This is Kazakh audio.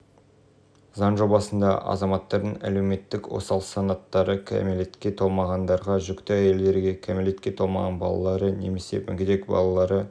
заң жобасында азаматтардың әлеуметтік осал санаттары кәмелетке толмағандарға жүкті әйелдерге кәмелетке толмаған балалары немесе мүгедек балалары